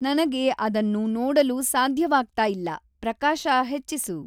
ನನಗೆ ಅದನ್ನು ನೋಡಲು ಸಾಧ್ಯವಾಗ್ತಾಇಲ್ಲ, ಪ್ರಕಾಶ ಹೆಚ್ಚಿಸು.